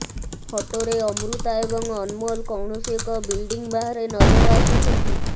ଫଟୋରେ ଅମୃତା ଏବଂ ଅନମୋଲ୍ କୌଣସି ଏକ ବିଲଡିଂ ବାହାରେ ନଜର ଆସୁଛନ୍ତି